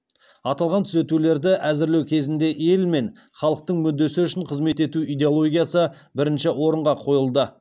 аталған түзетулерді әзірлеу кезінде ел мен халықтың мүддесі үшін қызмет ету идеологиясы бірінші орынға қойылды